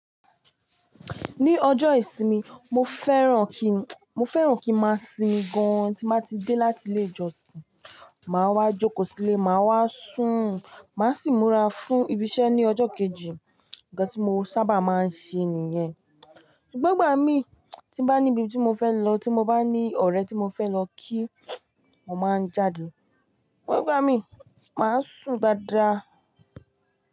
Ní ọjọ́ ìsinmi, mo fẹ́ràn kín, mo fẹ́ràn kí máa sinmi gan tí má ti dé láti ilé ìjọsìn. Máa wá jókòó sílé, máa wá sùn, má sì múra fún ibi iṣẹ́ ní ọjọ́ kejì. Ǹkan tí mo sábà máa ń ṣe nìyẹn. Ṣùgbọ́n ìgbà mí tí bá ní ibi tí mo fẹ́ lọ, tí mo bá ní ọ̀rẹ́ tí mo fẹ́ lọ kí, mo máa ń jáde. Ṣùgbọ́n ìgbà mí, màá sùn dáadáa.